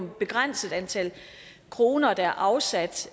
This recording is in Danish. et begrænset antal kroner der er afsat